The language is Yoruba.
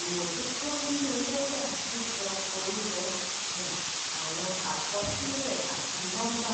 ìmójútó nínú lẹ́jà sísọ orúkọ um àwọn àkọsílẹ̀ àti nọ́ḿbà.